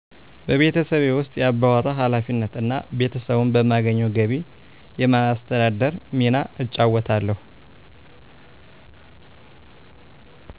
በቤተሠቤ ውስ የአባወራ ኃላፊነት እና ቤተሰቡን በማገኘው ገቢ የማስተዳደር ሚና እጫወታለሁ